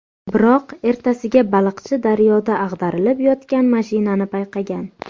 Biroq ertasiga baliqchi daryoda ag‘darilib yotgan mashinani payqagan.